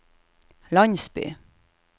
landsby